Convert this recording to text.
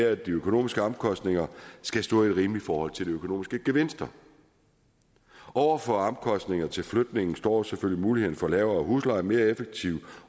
at de økonomiske omkostninger skal stå i et rimeligt forhold til de økonomiske gevinster over for omkostninger til flytningen står selvfølgelig muligheden for lavere husleje mere effektiv